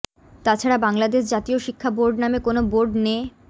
তাছাড়া বাংলাদেশ জাতীয় শিক্ষা বোর্ড নামে কোনো বোর্ড নে